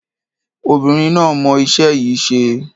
Obìnrin náà mọ iṣẹ́ yìí ṣe.